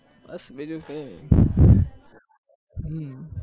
બસ બીજું કઈ હમ